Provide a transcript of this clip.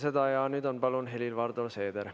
Helir-Valdor Seeder, palun!